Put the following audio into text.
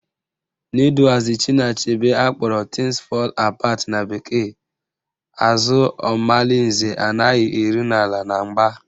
N'iduazị Chinua Achebe akpọrọ Things fall Apart na bekee, àzụ́ Omalinze anaghị eru n'ala na mgba